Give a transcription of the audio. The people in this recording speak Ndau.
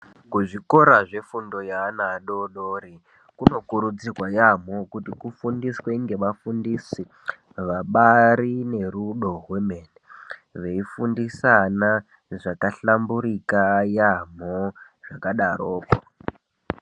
Kuzvikora zvefundo yaana adoodori, kunokurudzirwa yaamho kuti kufundiswe ngevafundisi vabaari nerudo rwemene, veifundisa ana zvakahlamburika yaamho zvakadaroko.